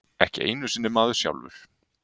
Ekki einu sinni maður sjálfur.